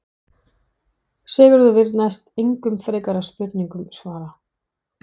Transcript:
Sigurður vill því næst engum frekari spurningum svara.